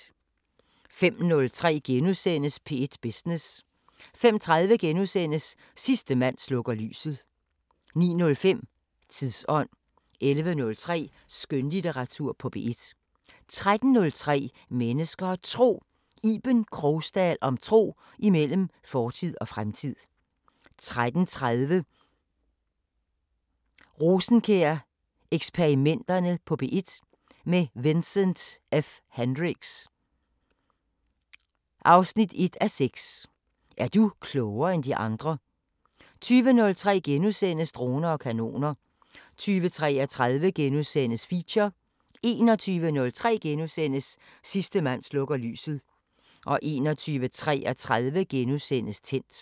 05:03: P1 Business * 05:30: Sidste mand slukker lyset * 09:05: Tidsånd 11:03: Skønlitteratur på P1 13:03: Mennesker og Tro: Iben Krogsdal om tro imellem fortid og fremtid 13:30: Rosenkjær-eksperimenterne på P1 – med Vincent F Hendricks: 1:6 Er du klogere end de andre? 20:03: Droner og kanoner * 20:33: Feature * 21:03: Sidste mand slukker lyset * 21:33: Tændt *